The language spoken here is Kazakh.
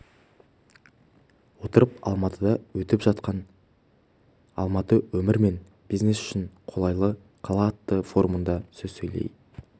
отырып алматыда өтіп жатқан алматы өмір мен бизнес үшін қолайлы қала атты форумда сөз сөйлей